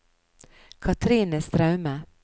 Cathrine Straume